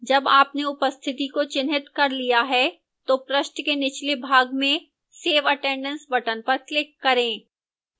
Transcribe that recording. जब आपने उपस्थिति को चिह्नित कर लिया है तो पृष्ठ के निचले भाग में save attendance button पर click करें